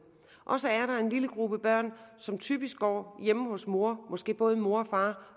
og så er der en lille gruppe børn som typisk går hjemme hos mor måske både hos mor og far